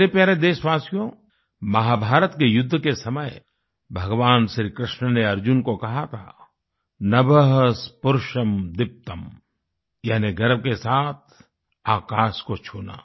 मेरे प्यारे देशवासियो महाभारत के युद्ध के समय भगवान श्रीकृष्ण ने अर्जुन को कहा था नभः स्पृशं दीप्तम् यानि गर्व के साथ आकाश को छूना